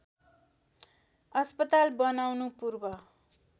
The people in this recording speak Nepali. अस्पताल बनाउनु पूर्व